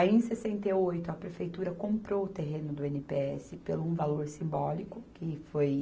Aí, em sessenta e oito, a prefeitura comprou o terreno do i ene pê esse pelo um valor simbólico, que foi